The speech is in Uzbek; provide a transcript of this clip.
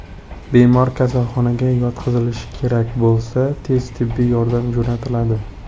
Bemor kasalxonaga yotqizilishi kerak bo‘lsa, tez tibbiy yordam jo‘natiladi.